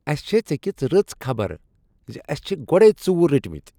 اسہ چھ ژےٚ کِژھ رٕژ خبر زِ اَسِہ چھ گۄڈے ژوٗر رٔٹۍ متۍ۔